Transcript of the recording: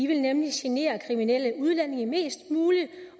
vil nemlig genere kriminelle udlændinge mest muligt